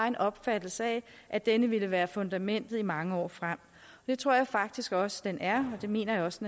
en opfattelse af at denne ville være fundamentet i mange år frem det tror jeg faktisk også den er og det mener jeg også